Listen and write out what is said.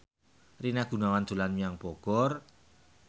Rina Gunawan dolan menyang Bogor